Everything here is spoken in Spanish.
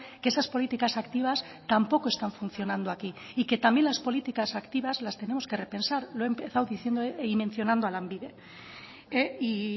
que esas políticas activas tampoco están funcionando aquí y que también las políticas activas las tenemos que repensar lo he empezado diciendo y mencionando a lanbide y